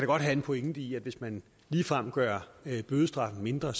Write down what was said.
godt have en pointe i at hvis man ligefrem gør bødestraffen mindre